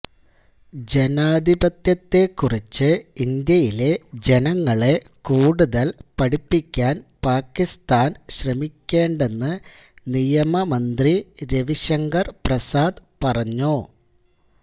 ജനാധിപത്യത്തേക്കുറിച്ച് ഇന്ത്യയിലെ ജനങ്ങളെ കൂടുതല് പഠിപ്പിക്കാന് പാക്കിസ്ഥാന് ശ്രമിക്കേണ്ടെന്ന് നിയമ മന്ത്രി രവി ശങ്കർ പ്രസാദ് പറഞ്ഞു